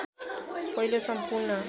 पहिलो सम्पूर्ण